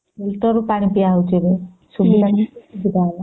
filter ରୁ ପାଣି ପା ହଉଚି ଏବେ କେତେ ସୁବିଧା ହେଲା